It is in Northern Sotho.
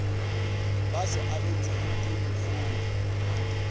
ba se abetšwego ke mohlodi